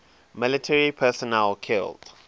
military personnel killed